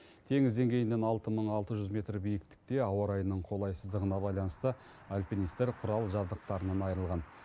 теңіз деңгейінен алты мың алты жүз метр биіктікте ауа райының қолайсыздығына байланысты альпинистер құрал жабдықтарынан айырылған